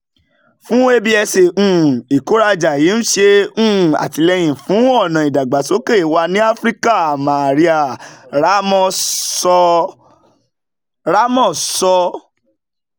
fún absa um ìkórajà yìí ń ṣe um àtìlẹ́yìn fún ọ̀nà ìdàgbàsókè wa ní áfíríkà maria ramos sọ. um